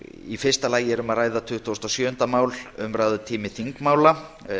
í fyrsta lagi er um að ræða tuttugasta og sjöunda mál umræðutími þingmála